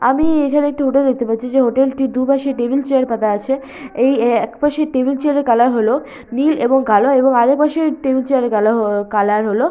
আমি এখানে একটি হোটেল দেখতে পাচ্ছি যে হোটেল টি দুপাশে টেবিল চেয়ার পাতা আছে এই একপাশের টেবিল চেয়ার এর কালার হলো নীল এবং কালো এবং আরেকপাশের টেবিল চেয়ার - এর কালা হ- কালার হলো--